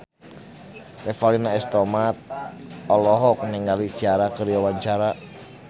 Revalina S. Temat olohok ningali Ciara keur diwawancara